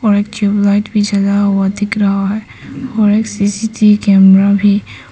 और एक ट्यूबलाइट भी जला हुआ दिख रहा है और एक सी_सी_टी_वी कैमरा भी--